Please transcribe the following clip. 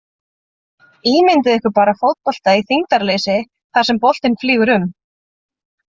Ímyndið ykkur bara fótbolta í þyngdarleysi þar sem boltinn flýgur um!